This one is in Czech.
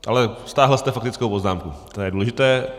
Ale stáhl jste faktickou poznámku, to je důležité.